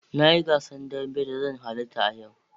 Na yi gasar dambe da zan halarta a yau